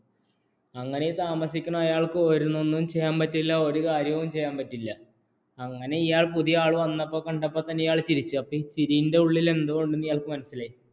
അങ്ങനെ താമസിക്കുന്ന ആൾക്കു ഒന്നും ചെയ്യാൻ പറ്റില്ല ഒരു കാര്യവും ചെയ്യാൻ പറ്റില്ല അങ്ങനെ ഇയാൾ പുതിയ ആൾ വന്നത് കണ്ടപ്പോൾ ഇയാൾ ചിരിച്ചു ഈ ചിരിയുടെ ഉള്ളിൽ എന്തോ ഉണ്ട് എന്ന് ഇയാൾക്ക് മനസ്സിലായി